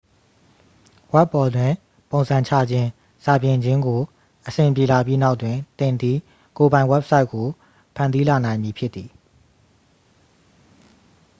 ဝဘ်ပေါ်တွင် ပုံစံချခြင်း စာပြင်ခြင်းကို အဆင်ပြေလာပြီးနောက်တွင် သင်သည် ကိုယ်ပိုင် ဝက်ဘ်ဆိုက်ကို ဖန်တီးလာနိုင်မည်ဖြစ်သည်